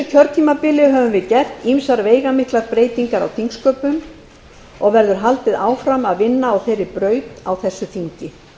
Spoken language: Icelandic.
kjörtímabili höfum við gert ýmsar veigamiklar breytingar á þingsköpum og verður haldið áfram að vinna á þeirri braut á þessu þingi